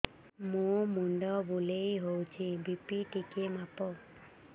ମୋ ମୁଣ୍ଡ ବୁଲେଇ ହଉଚି ବି.ପି ଟିକେ ମାପ